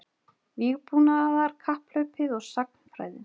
Vígbúnaðarkapphlaupið og sagnfræðin